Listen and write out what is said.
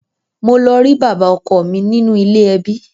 Mo lọ rí bàbá ọkọ mi nínú ilé ẹbí.